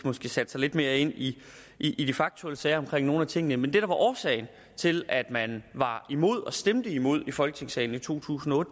sat sig lidt mere ind i i de faktuelle sager omkring nogle af tingene men det der var årsagen til at man var imod og stemte imod i folketingssalen i to tusind og